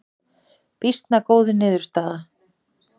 Býsna góð niðurstaða